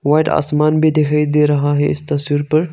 White आसमान भी दिखाई दे रहा है इस तस्वीर पर।